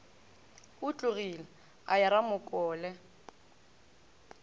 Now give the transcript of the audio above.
o tlogile a ya ramokole